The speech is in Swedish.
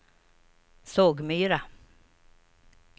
Sågmyra